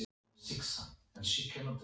Magnús: Er þetta mikið magn sem þið bakið?